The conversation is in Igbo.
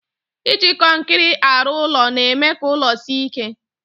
Iji kọnkịrị arụ ụlọ na-eme ka ụlọ sie ike.